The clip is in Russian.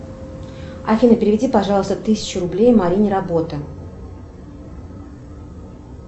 афина переведи пожалуйста тысячу рублей марине работа